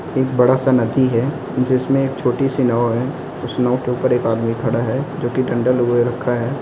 एक बड़ा सा नदी है। जिसमें एक छोटी सी नाव है। स नाव के ऊपर एक आदमी खड़ा है। जो कि डंडा लिए रखा है।